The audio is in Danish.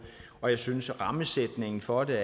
og jeg synes at rammesætningen for det er